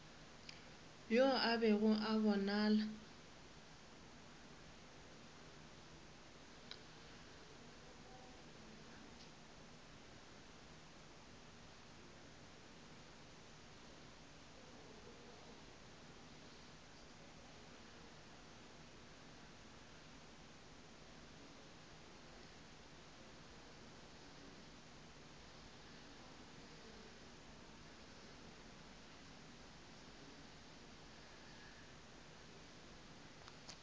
yo a bego a bonala